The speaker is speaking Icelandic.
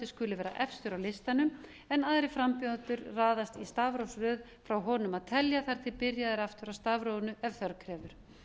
skuli vera efstur á listanum en aðrir frambjóðendur raðast í stafrófsröð frá honum að telja þar til byrjað er aftur á stafrófinu ef þörf krefur